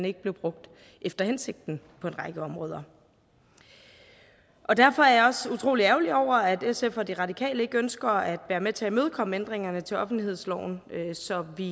ikke blev brugt efter hensigten på en række områder derfor er jeg også utrolig ærgerlig over at sf og de radikale ikke ønsker at være med til at imødekomme ændringerne til offentlighedsloven så vi